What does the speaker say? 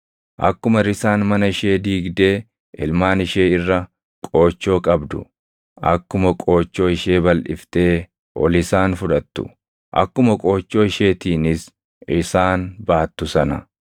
akkuma risaan mana ishee diigdee ilmaan ishee irra qoochoo qabdu, akkuma qoochoo ishee balʼiftee ol isaan fudhattu, akkuma qoochoo isheetiinis isaan baattu sana,